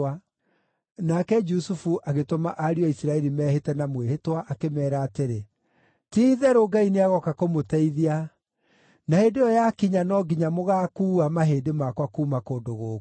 Nake Jusufu agĩtũma ariũ a Isiraeli mehĩte na mwĩhĩtwa, akĩmeera atĩrĩ, “Ti-itherũ Ngai nĩagooka kũmũteithia, na hĩndĩ ĩyo yakinya no nginya mũgaakuua mahĩndĩ makwa kuuma kũndũ gũkũ.”